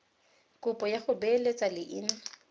kopo ya go beeletsa leina